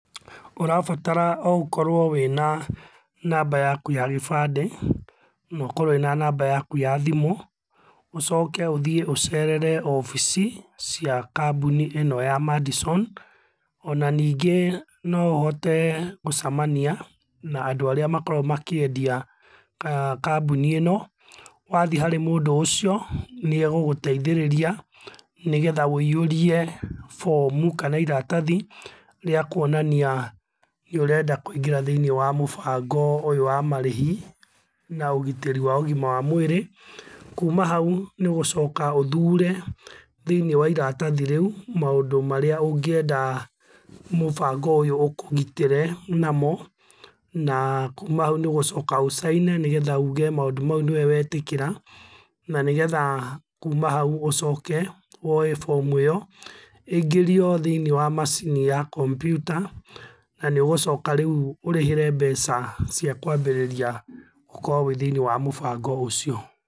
Ũrabatara o ũkorwo wĩna namba yakũ ya gĩbandĩ, nokorwo wĩna namba yakũ ya thimũ, ũcoke ũthiĩ ũcerere obici cia kambuni ino ya Madison, ona ningĩ no ũhote gũcamania na andũ arĩa makoragwo makĩendia kambuni ĩno. Wathiĩ harĩ mũndũ ũcio nĩeguguteithĩrĩria, nĩgetha ũiyũrie bomu kana iratathi rĩa kũonania nĩũrenda kũingĩra thĩiniĩ wa mũbango ũyũ wa marĩhi na ũgitĩri wa ũgima wa mwĩrĩ, kũma hau nĩũgũcoka ũthũre thĩiniĩ wa iratathi rĩũ maũndũ marĩa ũngĩenda mũbango ũyũ ũkũgitĩre namo na kũma hau nĩũgũcoka ũcaine, nĩgetha ũge maundũ maũ nĩwe wetĩkĩra, na nĩgetha kũma hau ũcoke woye bomu ĩyo ĩingĩrio thĩiniĩ wa macini ya kompiuta, na nĩũgũcoka rĩu ũrĩhĩre mbeca cia kwambĩrĩria gũkorwo wĩ thĩiniĩ wa mũbango ũcio.